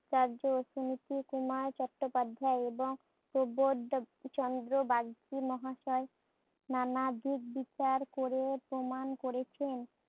সুনীতিকুমার চট্টোপাধ্যায় এবং প্রবোধচন্দ্র বাগচীর মহাসয় নানাদিক বিচার করে প্রমান করেছেন